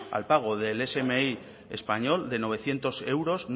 al pago del smi español de novecientos euros